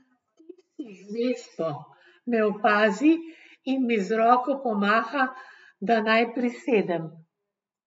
Tisti z vespo me opazi in mi z roko pomaha, da naj prisedem.